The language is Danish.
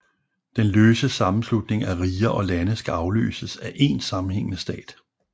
Den løse sammenslutning af riger og lande skal afløses af én sammenhængende stat